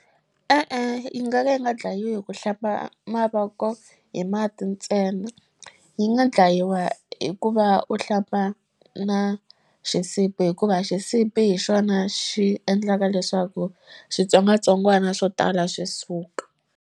E-e yi nga ka yi nga dlayiwi hi ku hlamba mavoko hi mati ntsena yi nga dlayiwa hikuva u hlamba na xisibi hikuva xisibi hi xona xi endlaka leswaku switsongwatsongwana swo tala swi suka.